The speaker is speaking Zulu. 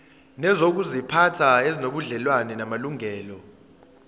nezokuziphatha ezinobudlelwano namalungelo